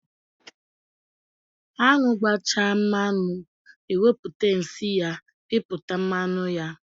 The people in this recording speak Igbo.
Anwụ gbanyechaa mmanụ, eweputa nsị ya piputa mmanụ ya.